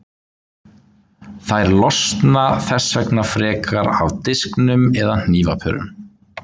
Þær losna þess vegna frekar af disknum eða hnífapörunum.